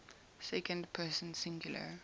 second person singular